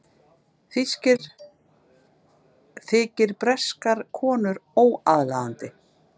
Þykir breskar konur óaðlaðandi